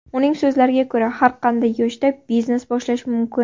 Uning so‘zlariga ko‘ra, har qanday yoshda biznes boshlash mumkin.